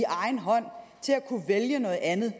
egen hånd at kunne vælge noget andet